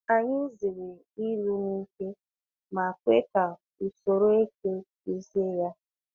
Anyị n'zere ịlụ n’ike ma kwe ka usoro eke duzie ya.